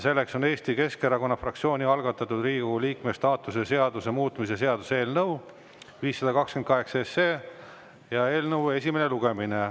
Selleks on Eesti Keskerakonna fraktsiooni algatatud Riigikogu liikme staatuse seaduse muutmise seaduse eelnõu 528 esimene lugemine.